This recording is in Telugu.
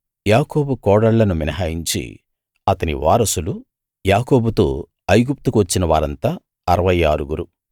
యాకోబు కోడళ్ళను మినహాయించి అతని వారసులు యాకోబుతో ఐగుప్తుకు వచ్చిన వారంతా అరవై ఆరుగురు